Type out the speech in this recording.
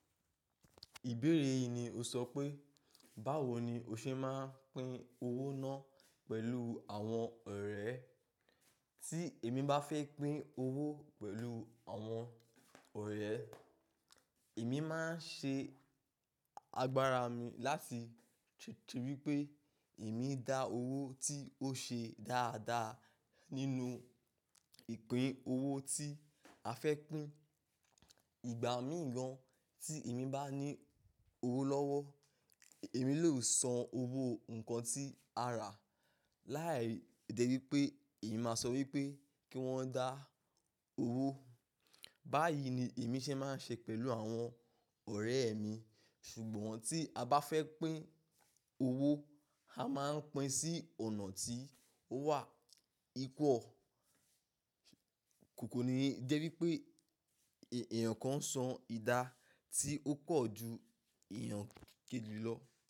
Ìbéèrè yìí ni o sọ pé, báwo ni o ṣe máa ń pín owó náà pẹ̀lú àwọn ọ̀rẹ́? Tí èmi bá fẹ́ pín owó pẹ̀lú àwọn ọ̀rẹ́, èmi máa ń ṣe agbára mi láti tètè wípé èmi dá owó tí ó ṣe dáadáa nínú ìpín owó tí a fẹ́ pín. Ìgbà mì gan tí èmi bá ní owó lọ́wọ́, èmi lè san owó nǹkan tí a rà. Láì jé wípé èmi máa sọ wípé kí wọ́n dá owó. Báyìí ni èmi ṣe máa ń ṣe pẹ̀lú àwọn ọ̀rẹ́ mi, ṣùgbọ́n tí a bá fẹ́ pín owó, a máa ń pín sí ọ̀nà tí ó wà equal. Kò kò ni jẹ́ wípé èèyàn kan san idà tí ó pọ̀ ju èèyàn kẹ́jì lọ.